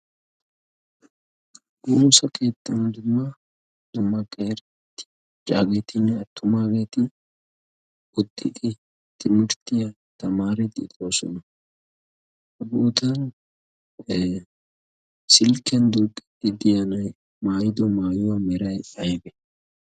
ha keettan dumma dumma macaagetinne attumageeti utiidi timirttiya tamaariidi de'oosona. ha silkkiyan duuqiidi diya na'ay maayido maayuwa meray aybee?